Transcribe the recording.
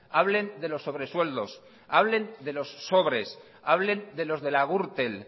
hablen de los sobresueldos hablen de los sobres hablen de los de la gürtel